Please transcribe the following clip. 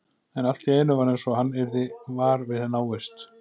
En allt í einu var eins og hann yrði var við návist